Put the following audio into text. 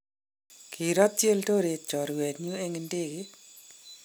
kirotyi Eldoret chorwenyu eng' ndege.